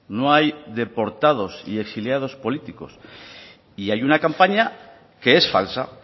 no hay deportados y exiliados políticos y hay una campaña que es falsa